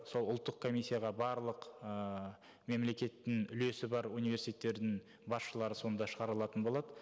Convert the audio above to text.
сол ұлттық комиссияға барлық ыыы мемлекеттің үлесі бар университеттердің басшылары сонда шығарылатын болады